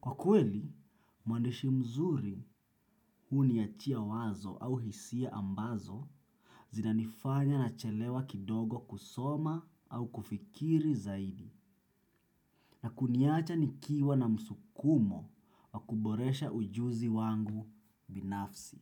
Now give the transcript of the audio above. Kwa kweli, mwandishi mzuri huniachia wazo au hisia ambazo zinanifanya nachelewa kidogo kusoma au kufikiri zaidi na kuniacha nikiwa na msukumo wa kuboresha ujuzi wangu binafsi.